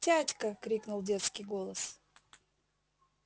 тятька крикнул детский голос